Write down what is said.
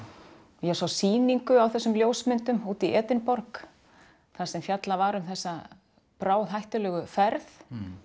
ég sá sýningu á þessum ljósmyndum úti í Edinborg þar sem fjallað var um þessa ferð